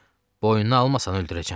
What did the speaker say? Boynuna almasan öldürəcəm.